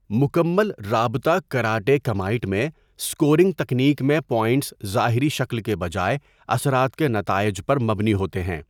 مکمل رابطہ karate kumite میں، اسکورنگ تکنیک میں پوائنٹس ظاہری شکل کے بجائے اثرات کے نتائج پر مبنی ہوتے ہیں۔